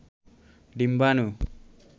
ডিম্বানু